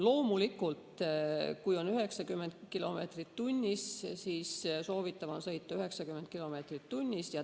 Loomulikult, kui on lubatud 90 kilomeetrit tunnis, siis soovitatav on sõita 90 kilomeetrit tunnis.